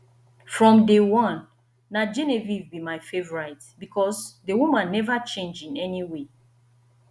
from day one na genevieve be my favourite because the woman never change in any way